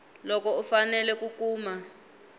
loko u fanele ku kuma